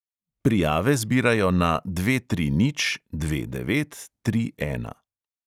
Prijave zbirajo na dve tri nič dve devet tri ena.